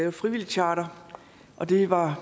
et frivilligcharter og det var